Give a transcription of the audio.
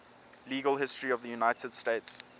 legal history of the united states